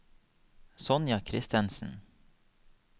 Sonja Kristensen